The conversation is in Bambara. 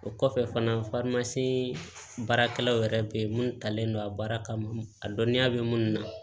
O kɔfɛ fana baarakɛlaw yɛrɛ bɛ yen minnu talen don a baara kama a dɔnniya bɛ minnu na